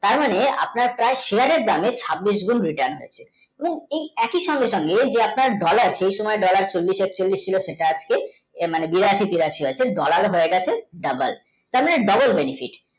তার মানে আপনার পাই shear দামে ছাবিষ গুন্ বেশি টানবে এবং এই একই সঙ্গে সঙ্গে যে আপনার dollar চলিশ একচলিশ ছিল তাঁর থেকে বিরাশি তিরাশি হচ্ছে dollar হচ্ছে doboll তাঁর মানে